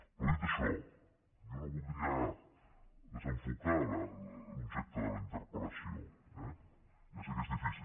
però dit això jo no voldria desenfocar l’objecte de la interpel·lació eh ja sé que és difícil